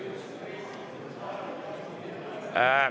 Okei.